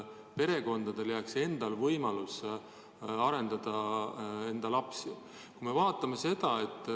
Perekondadel võiks ikka olla võimalus ise enda lapsi arendada.